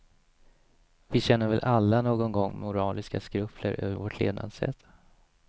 Vi känner väl alla någon gång moraliska skrupler över vårt levnadssätt.